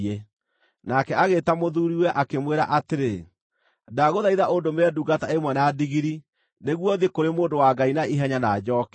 Nake agĩĩta mũthuuriwe, akĩmwĩra atĩrĩ, “Ndagũthaitha ũndũmĩre ndungata ĩmwe na ndigiri, nĩguo thiĩ kũrĩ mũndũ wa Ngai na ihenya na njooke.”